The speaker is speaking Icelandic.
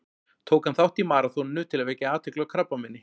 Tók hann þátt í maraþoninu til að vekja athygli á krabbameini.